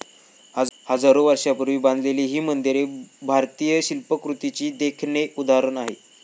हजारो वर्षापूर्वी बांधलेली ही मंदिरे भारतीय शिल्पकृतीचे देखणे उदाहरण आहे.